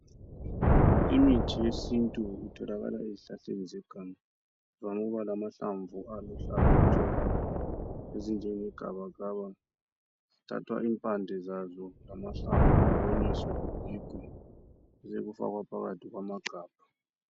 Imithi yesintu itholakala ezihlahleni zeganga. Ivame ukuba lamahlamvu aluhlaza tshoko ezinjenge gabagaba. Kuthathwa impande zaso lamahlamvu kuwonyiswe kugigwe besekufakwa phakathi kwamagabha.